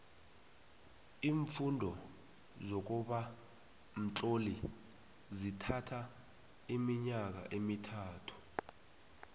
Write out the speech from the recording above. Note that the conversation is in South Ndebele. iimfundo zokuba mtloli zithatho iminyaka emithathu